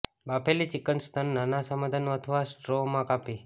બાફેલી chicken સ્તન નાના સમઘનનું અથવા સ્ટ્રો માં કાપી